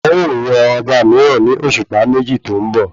Wọn ò yan ọba mìíràn ní òṣùpá méjì tó ń bọ̀